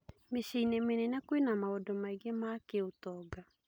Mĩciĩ-inĩ mĩnene kwĩna maũndũ maingĩ ma kĩũtonga.